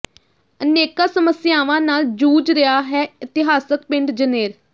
ਅਨੇਕਾਂ ਸਮੱਸਿਆਵਾਂ ਨਾਲ ਜੂਝ ਰਿਹਾ ਹੈ ਇਤਿਹਾਸਕ ਪਿੰਡ ਜਨੇਰ